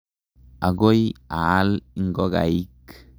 Akoi aal ingokaik.